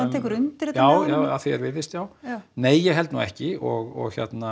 tekur undir þetta já að því er virðist já nei ég held nú ekki og